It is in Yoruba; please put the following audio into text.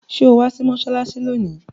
Sọ wá sí mọ́ṣáláṣí lónìí?